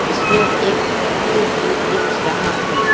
इसमें एक व्यक्ति भी दिख रहा है।